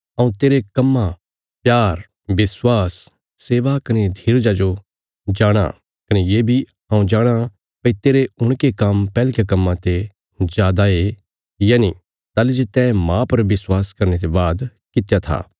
हऊँ तेरे कम्मां प्यार विश्वास सेवा कने धीरजा जो जाणाँ कने ये बी हऊँ जाणाँ भई तेरे हुणके काम्म पैहलकयां कम्मां ते जादा ये यनि ताहली जे तैं मांह पर विश्वास करने ते बाद कित्या था